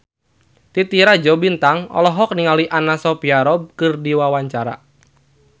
Titi Rajo Bintang olohok ningali Anna Sophia Robb keur diwawancara